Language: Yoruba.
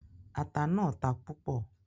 Ata náà ta púpò